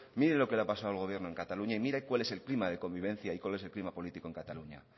mire lo que la ha pasado el gobierno en cataluña y mire cuál es el clima de convivencia y cuál es el clima de convivencia en cataluña